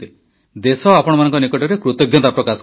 ଦେଶ ଆପଣମାନଙ୍କ ନିକଟରେ କୃତଜ୍ଞତା ପ୍ରକାଶ କରୁଛି